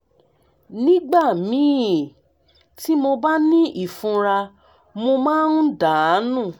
nígbà míì tí mo bá ní ìfunra mo máa ń dà nù